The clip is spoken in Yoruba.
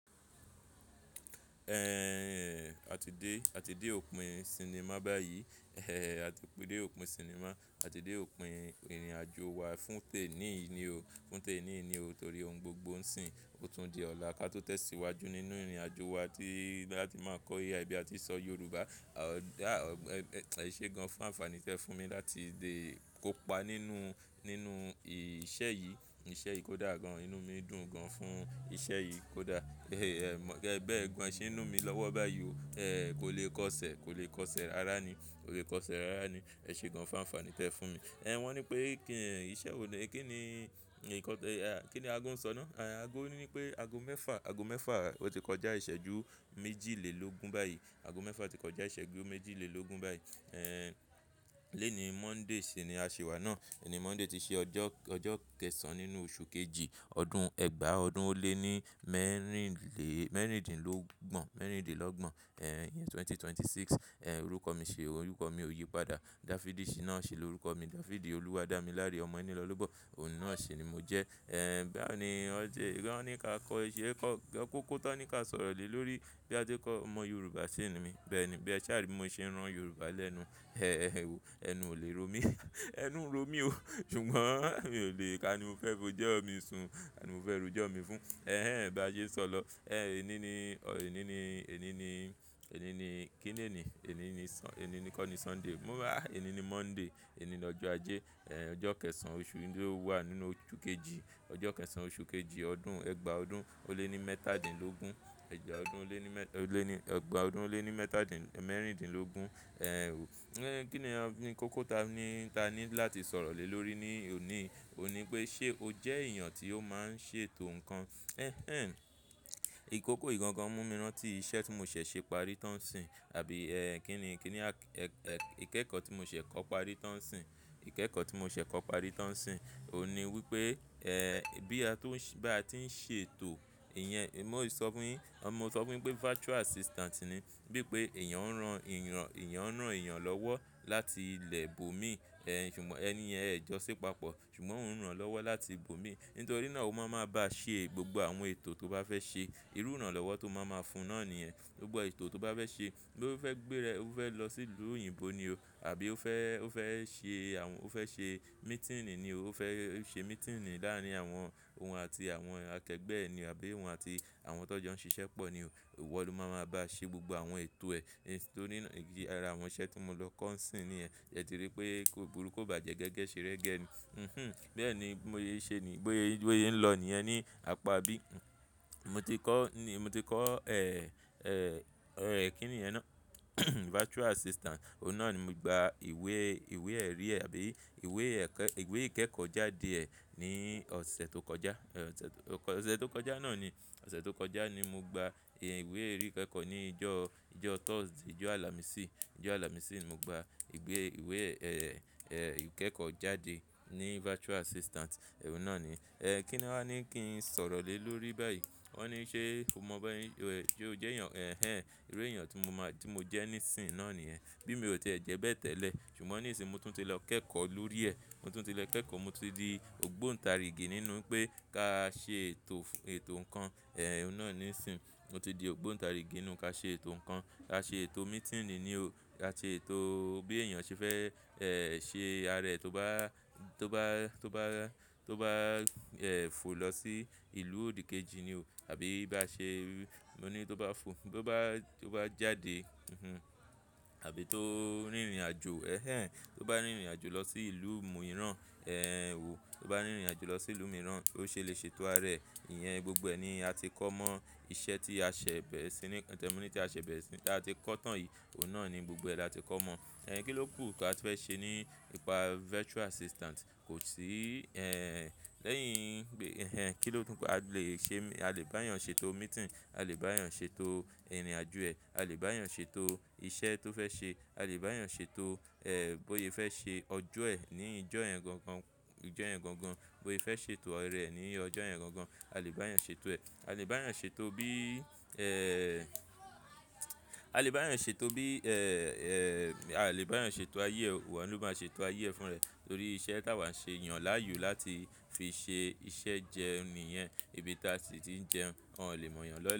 Ẹ̀hhhh àti dé, àti dé òpin sinimá báyìí. Ẹ̀ àti dé òpin sinimá, àti dé òpin ìrìnàjò wa fún tèniyi ni o, fún teniyi ni o torí ohun gbogbo ń sìn. Ó tún di ọ̀la ká tó tẹ̀síwájú nínú ìrìnàjò wa tí láti máa kọ́ AI ibi à ti sọ Yorùbá. À ó dá ọ̀ ẹ̀ ṣe gan fún ànfàní tẹ fún mi láti dé kópa nínú, nínú ìṣẹ̀ yìí. Ìṣẹ́ yìí kò dá gan, inú mi dùn gan fún iṣẹ́ yìí kò dá. E mo Ẹ̀ bẹ́ẹ̀ gun esin inú mi lọ́wọ́ báyìí o. Ẹ̀ kò lè kọ́ṣẹ́, kò lè kọ́ṣẹ́ rara ni, kò lè kọ́ṣẹ́ rara ni. Ẹ ṣe gan fún ànfàní tẹ fún mi. Ẹ̀ wọ́n ní pé kí n ìṣẹ́ wo ní, ki ni nnkan te, kí ni aago ń sọ náà? Àago ní pé aago mẹ́fà, aago mẹ́fà ó ti kọjá ìṣẹ́jú méjìlélógún báyìí. Aago mẹ́fà ti kọjá ìṣẹ́jú méjìlélógún báyìí. Ẹ̀hn lónìí Monday ṣi ni a ṣi wá náà. Lónìí Monday ti ṣe ọjọ́, ọjọ́ kẹsan nínú oṣù kejì, ọdún Ẹgba ọdún ó lé ní mẹ́rìnle mẹ́rìndínlógbon, mẹ́rìndínlógbon. Ẹ̀hn iyen 2026. Ẹ̀ orúkọ mi ṣé, orúkọ mi ò yí padà. Dafidí ṣìná si ni orúkọ mi. Jafidi olúwadamilare omo eni lo lobo Ohun náà ṣi ni mo jẹ́. Ẹ̀ báwo ni ọ̀ jẹ́? Wọ́n ní ká kọ́ iṣẹ́, kọ́ kọ́kọ́ tán ní ká sọ̀rọ̀ lé lórí bí a ti kọ́ ọmọ Yorùbá sí ni mi. Bẹ́ẹ̀ ni. Bí ẹ sá à ri mo ṣe ń ran Yorùbá lẹ́nu. Ẹ̀ ẹnu o lè ro mí. Ẹnu ń ro mi o. Ṣùgbọ́n mi ò lè ká ni mo fẹ́ bo jẹ́ ọmọ ìsun. Ká ni mo fẹ́ rujọ́ ọmọ mi fún. Ẹ̀hn bá sé n sọ̀ ọ. Eh eni ni, eni ni, eni ni, eni ni, kin le eni, eni ni sun-- èni kó ni Sunday. Mo a, ení ní Monday. Èyí ni lọ́jọ́ Ajé. Ẹ̀ ọjọ́ kẹsàn-án oṣù yìí tí ó wà nínú oṣù kejì. Ọjọ́ kẹsàn-án oṣù kejì ọdún Ẹgba ọdún ó lé ní mẹ́tàdínlógún. Ẹ̀gba ọdún ó lé ní mẹ́, ole ni-- egba odun o le ni mẹ́ta ọdún ó lé ní mẹ́tàdín mẹ́rìndínlógún. Ẹ̀ o. Ẹ̀ kí ni a ní kọ́kọ́ ta ní-- ta ní láti sọ̀rọ̀ lé lórí ní òní? Ó ní pé ṣe o jẹ́ èèyàn tí ó máa ń ṣètò nǹkan. Ẹ̀h eh ìkókó ì gangan mú mi rántí iṣẹ́ tí mo ṣẹ̀ ṣe parí tán ń sìn. Àbí ẹ́ kí ni, kí ni a ẹ́ ẹ́ ìkẹ́kọ̀ọ́ tí mo ṣẹ̀ kọ́ parí tán ń sìn. Ìkẹ́kọ̀ọ́ tí mo ṣẹ̀ kọ́ parí tán ń sìn. Ó ní wípé ẹ́ bí a tó ń ṣé bí a ti ń ṣètò, ìyẹn mó sọ fún yín, ọ mo sọ fún yín pé virtual assistant ni. Bí pé èèyàn ń ran èèyàn, èèyàn ń ran èèyàn lọ́wọ́ láti ilẹ̀ bòmí. Ẹ̀ ṣùgbọ́n ẹniyẹn ẹ jọ́si papọ̀. Ṣùgbọ́n ó ń ràn lọ́wọ́ láti ibòmí. Nítorí náà ó máa máa bá ṣẹ gbogbo àwọn ètò tó bá fẹ́ ṣe. Irú ìrànlọ́wọ́ tó máa máa fún náà nìyẹn. Àbí ẹ́ kí ni, kí ni a ẹ́ ẹ́ ìkẹ́kọ̀ọ́ tí mo ṣẹ̀ kọ́ parí tán ń sìn. Bí ó fẹ́ gbére, ó fẹ́ lọ sí ìlú òyìnbó ni o. Àbí ó fẹ́, ó fẹ́ ṣe àwọn ó fẹ́ ṣe meeting ni o. Ó fẹ́ ṣe meeting láàárín àwọn òun àti àwọn akẹgbẹ́ ẹ ni o. Àbí òun àti àwọn tó jẹ́ ó ń ṣiṣẹ́ pọ̀ ni o. Iwo lọ́ máa máa bá ṣe gbogbo àwọn ètò ẹ. Nítorí náà ìdí ara àwọn iṣẹ́ tí mo lọ kọ́ ń sìn niyen. Yẹn ti rí pé ko buru ko bàjẹ́ gẹ́gẹ́ ṣe rẹ́gẹ́ ni. Bẹ́ẹ̀ ni. Mó ye ṣe ni. Bóye, bóye ń lọ ni ẹ́ ní àpá bí. Mo ti kọ́ ni mo ti kọ́ ẹ́ ẹ́ ẹ́ kí ni yen náà? Virtual assistant. Ohun náà ni mo gba ìwé, ìwé ẹ̀rí ẹ àbí ìwé ẹ̀kẹ ìwé ìkẹ́kọ̀ọ́ jáde ẹ ní ọ̀sẹ̀ tó kọjá. Ọ̀sẹ̀ tó kọjá náà ni. Ọ̀sẹ̀ tó kọjá ni mo gba ìwé ẹ̀rí ìkẹ́kọ̀ọ́ ní ìjọ́, ìjọ́ Thursday, ìjọ́ àlàmísì. Ojo alamisi ni mo gba iwe--iwe, eh-eh ikekojaade ni virtual assistant Oun na ni Ẹ̀ kí ni wọ́n á ní kí n sọ̀rọ̀ lé lórí báyìí? Wọ́n ní ṣé mo mọ bí ẹ́ ṣé o jẹ́ èèyàn. Ẹ̀ ẹ́ iru èèyàn tí mo máa tí mo jẹ́ nísìnyí náà nìyẹn. Bí mi ò ti e jẹ́ bẹ́ẹ̀ tẹ́lẹ̀. Ṣùgbọ́n nísìnyí mo tún ti lọ kẹ́kọ̀ọ́ lórí ẹ. Mo tún ti lọ kẹ́kọ̀ọ́. Mo ti di ògbóǹta rí gín nínú pé ká ṣe ètò, ètò nǹkan. Ẹ̀ ohun náà nìsìnyí. Mo ti di ògbóǹtarigi nínú ká ṣe ètò nǹkan. Ka ṣe ètò meeting ni o. Ka ṣe ètò bí èèyàn ṣe fẹ́ ẹ́ ṣe ara ẹ tó bá, tó bá, tó bá, tó bá ẹ́ fò lọ sí ìlú òdìkejì ni o. Àbí bá ṣe mo ní tó bá fò tó bá, tó bá jáde. Àbí tó ń rìnrìnàjò. Ẹ̀h eh tó bá rìnrìnàjò lọ sí ìlú mìíràn. Ẹ̀ o tó bá rìnrìnàjò lọ sí ìlú mìíràn, ó ṣe lè ṣètò ara ẹ. Ìyẹn gbogbo ẹ ni a ti kọ́ mọ́ iṣẹ́ tí a ṣẹ̀ bẹ́ẹ̀ sí ní tẹ́mìtí a ṣẹ̀ bẹ́ẹ̀ sí ta ti kọ́ tán yìí. Òun náà ni gbogbo ẹ la ti kọ́ mọ́. Ẹ̀in kí ló kù tí a tun fẹ́ ṣe ní ipa virtual assistant? Kò sí ẹ̀ ẹ́ lẹ́yìn gbé ẹ̀ ẹ́ ẹ́ kí ló kù a lè ṣe a lè bá èèyàn ṣètò meeting. A lè bá èèyàn ṣètò ìrìnàjò ẹ. A lè bá èèyàn ṣètò iṣẹ́ tó fẹ́ ṣe. A lè bá èèyàn ṣètò ẹ́ bóye fẹ́ ṣe ọjọ́ ẹ ní ìjọ́ yan gangan. Ni ijo yan gangan Bóye fẹ́ ṣètò ara ẹ ní ìjọ́ yan gangan A lè bá èèyàn ṣètò ẹ. A lè bá èèyàn ṣètò bí ẹ́h ẹ́h, a lè bá èèyàn ṣètò bí ẹ́h ẹ́h, a lè bá èèyàn ṣètò ayé ẹ. Ọ̀un ó máa ṣe ṣètò ayé ẹ fún ẹ. Nítorí iṣẹ́ tí àwa ń ṣe yàn láàyò láti fi ṣe iṣẹ́ jẹun niyẹn, ibi tí a sì ti ń jẹun. Wọn ò lè mọ̀ ẹ́yàn lọ́l--